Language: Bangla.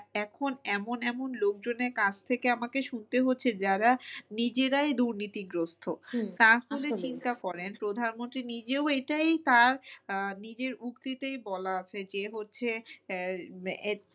এখন এমন এমন লোকজনের কাছ থেকে আমাকে শুনতে হচ্ছে যারা নিজেরাই দুর্নীতি গ্রস্থ তাহলে চিন্তা করেন প্রধান মন্ত্রী নিজেও এইটাও তার আহ নিজের উক্তিতেই বলা আছে যে হচ্ছে আহ